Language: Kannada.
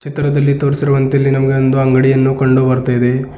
ಚಿತ್ರದಲ್ಲಿ ತೋರಿಸಿರುವಂತೆ ಇಲ್ಲಿ ನಮಗೆ ಒಂದು ಅಂಗಡಿಯನ್ನು ಕಂಡು ಬರುತ್ತಾ ಇದೆ.